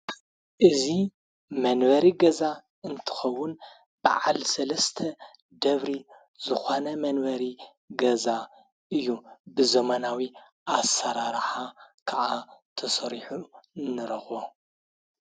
እዙ መንበሪ ገዛ እንትኸውን ብዓል ሠለስተ ደብሪ ዝኾነ መንበሪ ገዛ እዩ ብዘማናዊ ኣሠራርሓ ከዓ ተሠሪሑ ይርከብ።